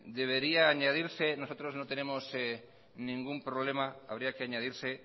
debería añadirse nosotros no tenemos ningún problema habría que añadirse